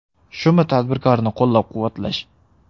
Shumi tadbirkorni qo‘llab-quvvatlash?